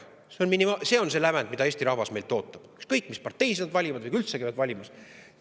See on see lävend, mille Eesti rahvas meilt ootab, ükskõik mis parteisid nad valivad või kas üldse käivadki valimas.